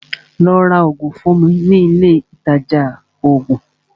Lọ́ rá oògùn fún mi ní ilé Ilé ìtajà oògùn!